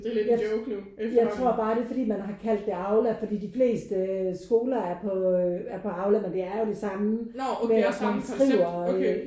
Jeg jeg tror bare det er fordi man har kaldt det Aula fordi de fleste skoler er på er på Aula men det er jo det samme med at man skriver øh